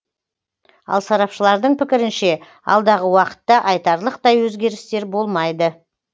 ал сарапшылардың пікірінше алдағы уақытта айтарлықтай өзгерістер болмайды